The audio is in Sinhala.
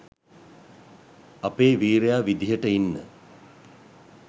අපේ වීරයා විදිහට ඉන්න